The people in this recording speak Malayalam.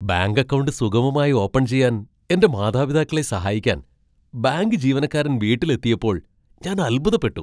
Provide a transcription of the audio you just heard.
ബാങ്ക് അക്കൗണ്ട് സുഗമമായി ഓപ്പൺ ചെയ്യാൻ എന്റെ മാതാപിതാക്കളെ സഹായിക്കാൻ ബാങ്ക് ജീവനക്കാരൻ വീട്ടിലെത്തിയപ്പോൾ ഞാൻ അത്ഭുതപ്പെട്ടു.